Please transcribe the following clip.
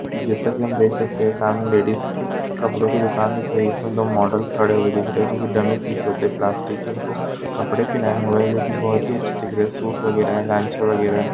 जैसा की हम देख सकते है सामने लेडीज के कपड़ो की दूकान दिख रही है इसमें दो मॉडल खड़े हुए दिख रहे है जो की डम्मी पीस होते है प्लास्टिक के इनको कपडे पहना हुआ है जो की बहुत ही अच्छा दिख रहा है सूट वगेरा है घांचा वगेरा है।